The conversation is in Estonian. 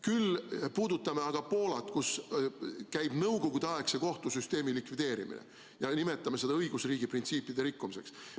Küll puudutame aga Poolat, kus käib nõukogudeaegse kohtusüsteemi likvideerimine, ja nimetame seda õigusriigi printsiipide rikkumiseks.